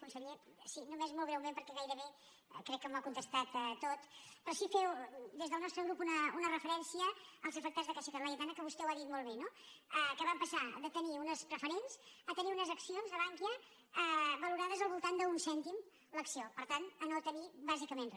conseller sí només molt breument perquè gairebé crec que m’ho ha contestat tot però sí fer des del nostre grup una referència als afectats de caixa laietana que vostè ho ha dit molt bé no que van passar de tenir unes preferents a tenir unes accions de bankia valorades al voltant d’un cèntim l’acció per tant a no tenir bàsicament re